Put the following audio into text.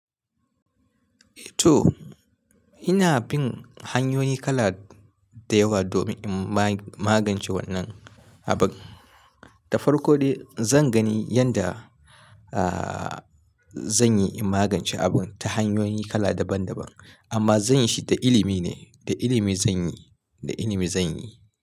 To ina bin hanyoyi kala da yawa domin in magance wannan abun. Da farko dai zan gani yanda, ahhh, zanyi in magance abun ta hanyoyi kala daban daban amma zanyi shi da ilimi ne, da ilimi zanyi, da ilimi zanyi.